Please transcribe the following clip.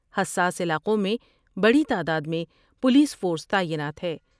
حساس علاقوں میں بڑی تعداد میں پولیس فورس تعینات ہے ۔